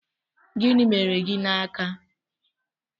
Gịnị mere gị n'aka?